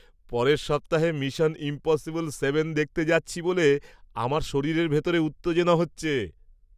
পরের সপ্তাহে mission impossible seven দেখতে যাচ্ছি বলে আমার শরীরের ভিতরে উত্তেজনা হচ্ছে!